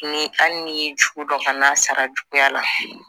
Ni hali n'i ye jugu dɔn kana sara juguya la